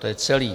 To je celé.